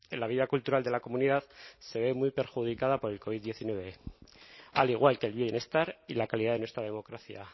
la vida cultural de la comunidad se ve muy perjudicada por la covid diecinueve al igual que el bienestar y la calidad de nuestra democracia